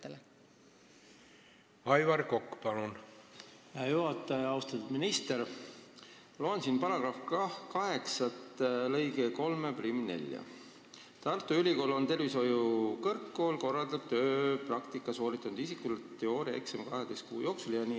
Ma loen siin eelnõu § 1 punkti 8, mis ütleb, et seaduse § 30 täiendatakse ka lõikega 34, mis ütleb, et Tartu Ülikool või tervishoiukõrgkool korraldab tööpraktika sooritanud isikule teooriaeksami 12 kuu jooksul.